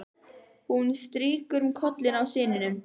Hún strýkur um kollinn á syninum.